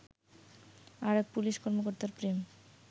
আর এক পুলিশ কর্মকর্তার প্রেম